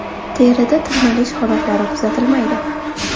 Terida tirnalish holatlari kuzatilmaydi.